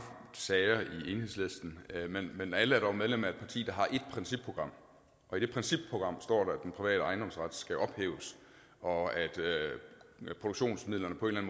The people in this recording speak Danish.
sager i enhedslisten men alle er dog medlem af et parti der har et principprogram og i det principprogram står der at den private ejendomsret skal ophæves og at produktionsmidlerne på en